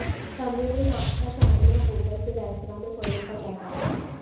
कमरे में नाश्ता शामिल है और होटल के रेस्तरां में परोसा जाता है